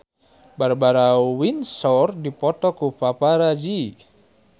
Barbara Windsor dipoto ku paparazi